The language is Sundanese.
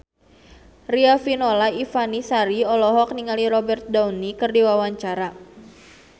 Riafinola Ifani Sari olohok ningali Robert Downey keur diwawancara